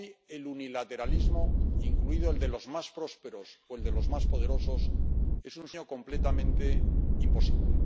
Hoy, el unilateralismo, incluido el de los más prósperos o el de los más poderosos, es un sueño completamente imposible.